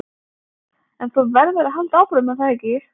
En þú verður að halda áfram, er það ekki?